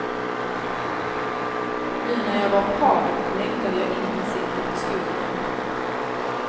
Nu när jag var på havet längtade jag intensivt efter skogen.